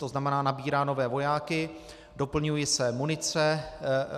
To znamená, nabírá nové vojáky, doplňuje se munice.